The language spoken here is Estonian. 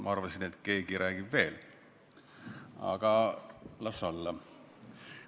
Ma arvasin, et keegi räägib veel, aga las olla.